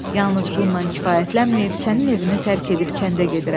Yalnız bununla kifayətlənməyib sənin evini tərk edib kəndə gedirəm.